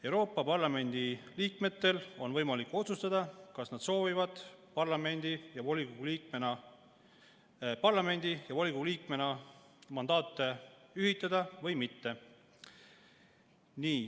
Euroopa Parlamendi liikmetel on võimalik otsustada, kas nad soovivad parlamendi ja volikogu liikme mandaate ühitada või mitte.